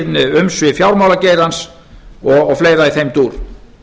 aukin umsvif fjármálageirans og fleira í þeim dúr